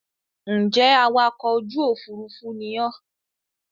Ń jẹ́ awakọ̀ ojú Òfurufú ni ọ́